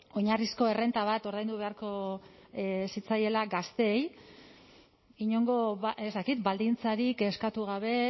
oinarrizko errenta bat ordaindu beharko zitzaiela gazteei inongo ez dakit baldintzarik eskatu gabe